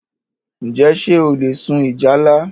Njẹ ṣé o le sun ìjálá?